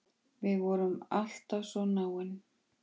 Við vorum alltaf svo náin.